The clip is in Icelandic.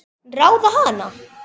Ráða hana?